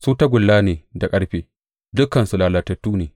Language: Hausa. Su tagulla ne da ƙarfe; dukansu lalatattu ne.